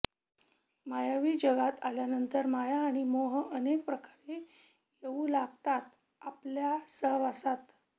मायावी जगात आल्यानंतर माया आणि मोह अनेक प्रकारे येऊ लागतात आपल्या सहवासात